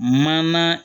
Mana